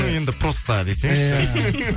ну енді просто десеңізші иә